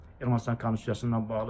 Ermənistan Konstitusiyası ilə bağlı.